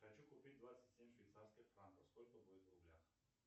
хочу купить двадцать семь швейцарских франков сколько будет в рублях